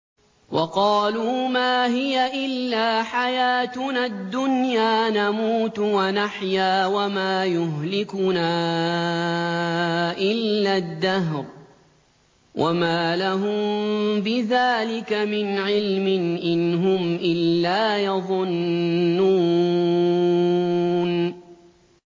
وَقَالُوا مَا هِيَ إِلَّا حَيَاتُنَا الدُّنْيَا نَمُوتُ وَنَحْيَا وَمَا يُهْلِكُنَا إِلَّا الدَّهْرُ ۚ وَمَا لَهُم بِذَٰلِكَ مِنْ عِلْمٍ ۖ إِنْ هُمْ إِلَّا يَظُنُّونَ